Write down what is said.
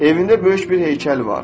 Evində böyük bir heykəl var.